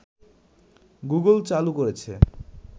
Google চালু করেছে